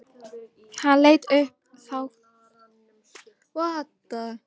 Hann leit upp þakklátur.